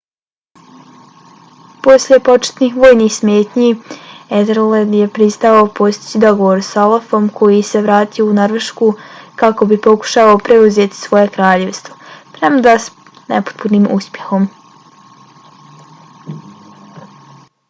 poslije početnih vojnih smetnji ethelred je pristao postići dogovor s olafom koji se vratio u norvešku kako bi pokušao preuzeti svoje kraljevstvo premda s nepotpunim uspjehom